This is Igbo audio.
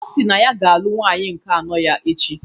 Ọ si na ọ ga-alụ nwunye nke anọ ya echi.